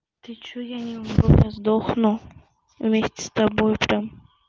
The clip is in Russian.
ты что я не умру я сдохну вместе с тобой прям